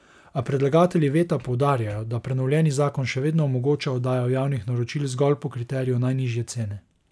A predlagatelji veta poudarjajo, da prenovljeni zakon še vedno omogoča oddajo javnih naročil zgolj po kriteriju najnižje cene.